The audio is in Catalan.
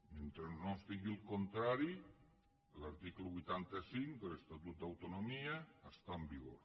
mentre no es digui el contrari l’article vuitanta cinc de l’estatut d’autonomia està en vigor